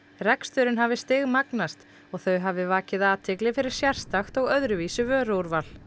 reksturinn hafi stigmagnast og þau hafi vakið athygli fyrir sérstakt og öðruvísi vöruúrval